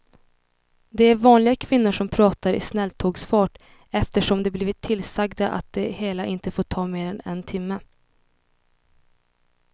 Det är vanliga kvinnor som pratar i snälltågsfart eftersom de blivit tillsagda att det hela inte får ta mer än en timme.